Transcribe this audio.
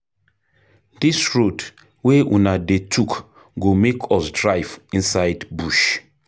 Dis road wey una dey tok go make us drive inside bush.